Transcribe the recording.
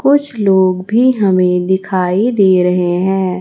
कुछ लोग भी हमें दिखाई दे रहे हैं।